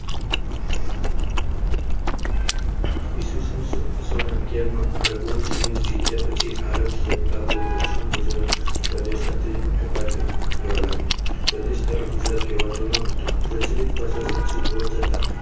સોને ગેર આરબોએ સિંધ જીત્યા પછી આરબ દક્ષિણ ગુજરાત પ્રદેશ સાથે પ્રદેશ ગુજરાત કેવાતો ન હતો પ્રચલિત ભાષા સંસ્કૃત હોવા છતાં.